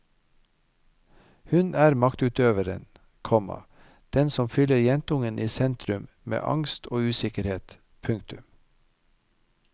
Hun er maktutøveren, komma den som fyller jentungen i sentrum med angst og usikkerhet. punktum